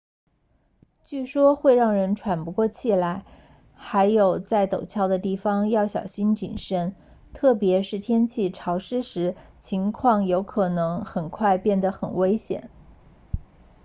据说会让人喘不过气来还有在陡峭的地方要小心谨慎特别是天气潮湿时情况有可能很快变得很危险